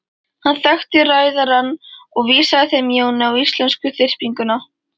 Hann þekkti ræðarann og vísaði þeim Jóni á íslensku þyrpinguna.